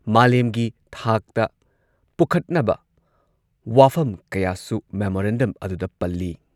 ꯃꯥꯂꯦꯝꯒꯤ ꯊꯥꯛꯇ ꯄꯨꯈꯠꯅꯕ ꯋꯥꯐꯝ ꯀꯌꯥꯁꯨ ꯃꯦꯃꯣꯔꯦꯟꯗꯝ ꯑꯗꯨꯗ ꯄꯜꯂꯤ꯫